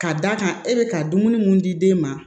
Ka d'a kan e be ka dumuni mun di den ma